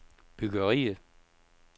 byggeriet